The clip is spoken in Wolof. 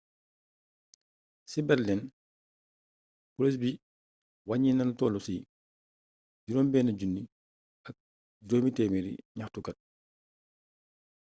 ci berlin poliis bi waññi na lu toll ci 6500 ñaxtukat